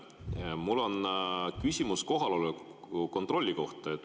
Mul on küsimus kohaloleku kontrolli kohta.